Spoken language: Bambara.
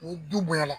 Ni du bonyala